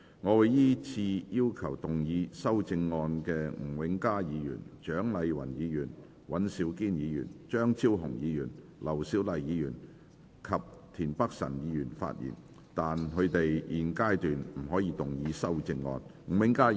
我會依次請要動議修正案的吳永嘉議員、蔣麗芸議員、尹兆堅議員、張超雄議員、劉小麗議員及田北辰議員發言；但他們在現階段不可動議修正案。